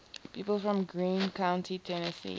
people from greene county tennessee